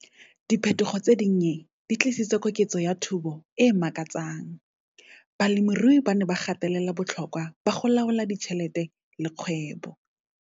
Diphetogo tse dinnye di tlisitse koketso ya thobo e makatsang. Balemirui ba ne ba gatelela botlhokwa ba go laola ditšhelete le kgwebo.